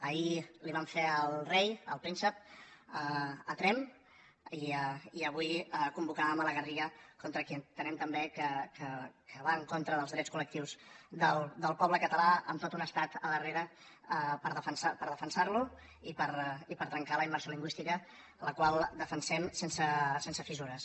ahir li ho vam fer al rei al príncep a tremp i avui ho convocàvem a la garriga contra qui entenem també que va en contra dels drets col·lectius del poble català amb tot un estat al darrere per defensar lo i per trencar la immersió lingüística la qual defensem sense fissures